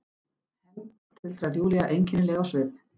Hefnd, tuldrar Júlía einkennileg á svip.